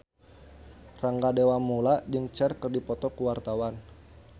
Rangga Dewamoela jeung Cher keur dipoto ku wartawan